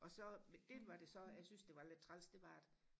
og så det var det så jeg så synes der var lidt træls det var at